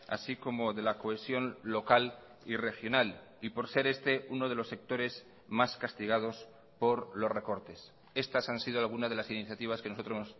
así como de la cohesión local y regional y por ser este uno de los sectores más castigados por los recortes estas han sido alguna de las iniciativas que nosotros